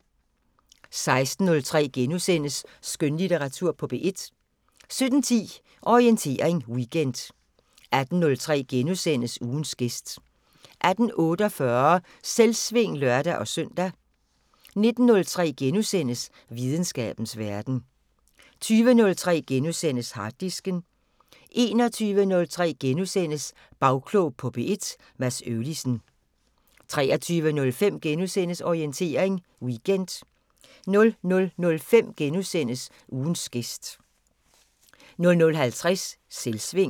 16:03: Skønlitteratur på P1 * 17:10: Orientering Weekend 18:03: Ugens gæst * 18:48: Selvsving (lør-søn) 19:03: Videnskabens Verden * 20:03: Harddisken * 21:03: Bagklog på P1: Mads Øvlisen * 23:05: Orientering Weekend * 00:05: Ugens gæst * 00:50: Selvsving